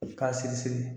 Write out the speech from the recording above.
K'a siri siri